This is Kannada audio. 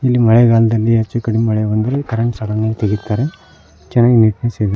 ಇಲ್ಲಿ ಮಳೆಗಾಲದಲ್ಲಿ ಹೆಚ್ಚುಕಡೆ ಮಳೆ ಬಂದ್ರೆ ಕರಂಟ್ ಸಡನ್ನಾಗಿ ತಗಿತಾರೆ ಚೆನ್ನಾಗಿ ನೀಟ್ನೆಸ್ ಇದೆ.